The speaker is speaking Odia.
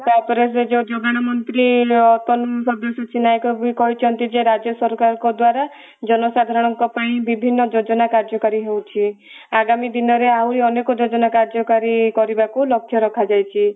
ଆଉ ତାପରେ ସେ ଯୋଉ ଯୋଗାଣ ମନ୍ତ୍ରୀ ତନ୍ମୟ ସବ୍ୟସାଚୀ ନାୟକ ଯିଏ କହିଛନ୍ତି ଯେ ରାଜ୍ୟ ସରକାରଙ୍କ ଦ୍ଵାରା ଜନସାଧାରଣ ଙ୍କ ପାଇଁ ବିଭିନ୍ନ ଯୋଜନା କାର୍ଯ୍ୟକାରୀ ହେଉଛି ଆଗାମୀ ଦିନ ରେ ଆହୁରି ଅନେକ ଯୋଜନା କାର୍ଯ୍ୟକାରୀ କରିବାକୁ ଲକ୍ଷ୍ୟ ରଖାଯାଇଛି ।